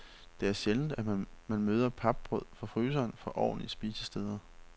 Det er sjældent, man møder papbrød fra fryseren på ordentlige spisesteder.